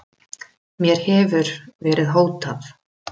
Bessadýr hafa verið send út í geim!